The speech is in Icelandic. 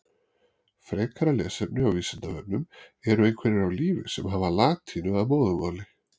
Frekara lesefni á Vísindavefnum Eru einhverjir á lífi sem hafa latínu að móðurmáli?